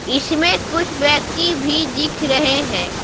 इसमें कुछ व्यक्ति भी दिख रहे हैं।